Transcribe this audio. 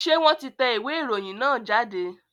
Ṣé wọ́n ti tẹ ìwé ìròyìn náà jáde?